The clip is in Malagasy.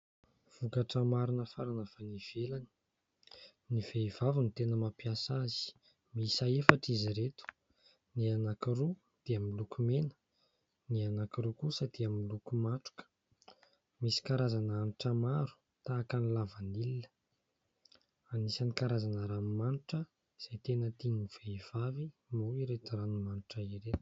Vokatra maro nafarana avy any ivelany, ny vehivavy no tena mampiasa azy, miisa efatra izy ireto : ny anankiroa dia miloko mena, ny anankiroa kosa dia miloko matroka ; misy karazana hanitra maro tahaka ny lavanila. Anisan'ny karazana ranomanitra izay tena tian'ny vehivavy moa ireto ranomanitra ireto.